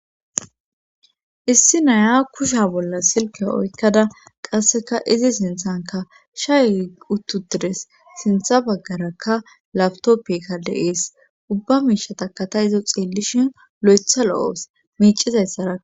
Issi naya kusha bolla silka oykkada qasseka izi sinthanka shay uttu tires sintha baggarakka lawtoppikka de7ees ubba miishataka ta hiza xeellishin loytha lo7awus miicizayssaraa.